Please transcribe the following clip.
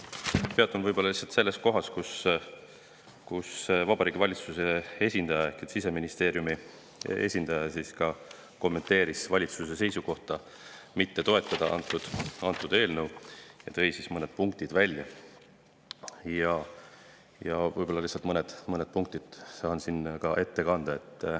Peatun selles kohas, kus Vabariigi Valitsuse esindaja ehk Siseministeeriumi esindaja kommenteeris valitsuse seisukohta mitte toetada antud eelnõu ja tõi selle kohta välja mõned punktid, mille saan siin ette kanda.